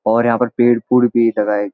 और यहां पर पेड़ फूल भी लगाये --